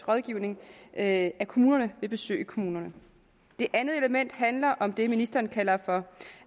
rådgivning af kommunerne ved besøg i kommunerne det andet element handler om det ministeren kalder for